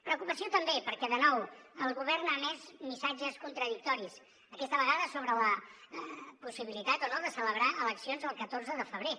preocupació també perquè de nou el govern ha emès missatges contradictoris aquesta vegada sobre la possibilitat o no de celebrar eleccions el catorze de febrer